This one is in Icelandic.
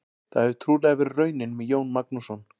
Það hefur trúlega verið raunin með Jón Magnússon.